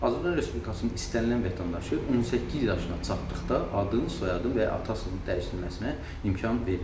Azərbaycan Respublikasının istənilən vətəndaşı 18 yaşına çatdıqda adın, soyadın və ya atasının dəyişdirilməsinə imkan verilir.